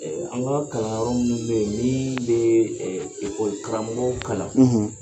an kaa kalan yɔrɔ munnu be ye n'ii yee karamɔgɔw kalan